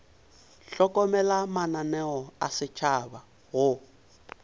hlokomela mananeo a setšhaba go